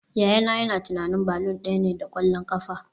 Yayana yana tunanin balloon daya ne da kwallon kafa